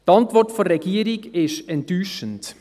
Die Antwort der Regierung ist enttäuschend.